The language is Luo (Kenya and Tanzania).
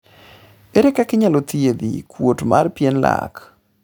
ere kaka inyal thiedhi kuot mar pien lak?